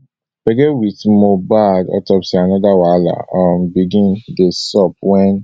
gbege wit mohbad autopsy anoda wahala um begin dey sup wen